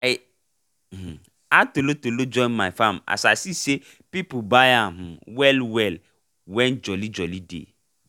i um add tolotolo join my farm as i se say people buy am um well well when joli joli dey